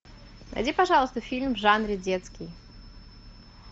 найди пожалуйста фильм в жанре детский